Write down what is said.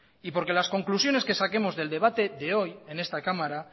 y porque las discusiones que saquemos del debate de hoy en esta cámara